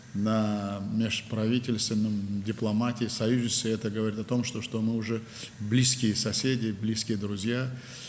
Hökumətlərarası, diplomatiya, müttəfiqlik səviyyəsində bu o deməkdir ki, biz artıq yaxın qonşuyuq, yaxın dostlarıq.